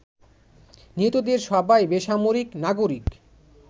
নিহতদের সবাই বেসামরিক নাগরিক।